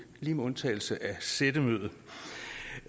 lige med undtagelse af sættemødet